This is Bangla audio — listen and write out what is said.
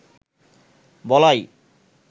বলাই